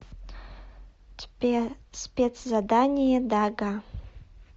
тебе спецзадание дага